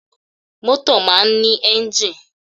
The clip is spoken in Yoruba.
Mọ́tò máa ń ní enjii.